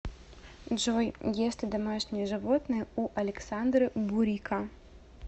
джой есть ли домашние животные у александры бурико